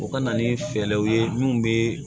O ka na ni fɛɛrɛw ye minnu bɛ